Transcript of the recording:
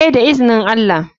Eh da izinin allah.